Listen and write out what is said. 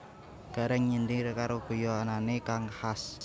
Gareng nyindir karo guyonane kang khas